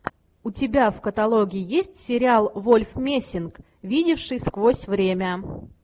у тебя в каталоге есть сериал вольф мессинг видевший сквозь время